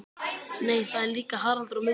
Nei það er líka Haraldur og Mummi.